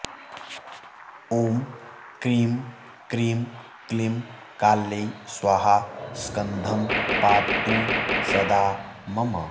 ॐ क्रीं क्रीं क्लीं काल्यै स्वाहा स्कन्धं पातु सदा मम